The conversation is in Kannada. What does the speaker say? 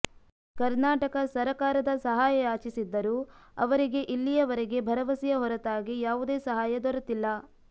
ಕರ್ನಾಟಕ ಸರಕಾರದ ಸಹಾಯ ಯಾಚಿಸಿದ್ದರೂ ಅವರಿಗೆ ಇಲ್ಲಿಯವರೆಗೆ ಭರವಸೆಯ ಹೊರತಾಗಿ ಯಾವುದೇ ಸಹಾಯ ದೊರೆತಿಲ್ಲ